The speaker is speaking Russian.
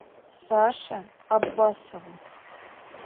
саше аббасову